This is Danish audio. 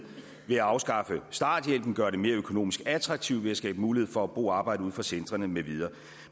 ved at afskaffe starthjælpen gøre det mere økonomisk attraktivt ved at skabe mulighed for at bo og arbejde uden for centrene med videre